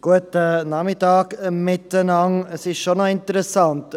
Es ist schon interessant: